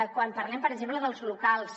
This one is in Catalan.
quan parlem per exemple dels locals